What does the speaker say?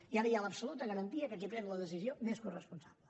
i ara hi ha l’absoluta garantia que qui pren la decisió n’és coresponsable